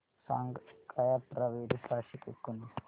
सांग काय अठरा बेरीज सहाशे एकोणीस